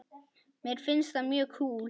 Mér finnst það mjög kúl.